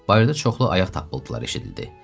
Bayırda çoxlu ayaq tapıntılar eşidildi.